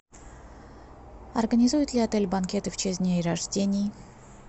организует ли отель банкеты в честь дней рождений